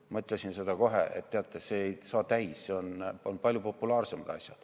Ma ütlesin kohe, et teate, see ei saa täis, on palju populaarsemaid asju.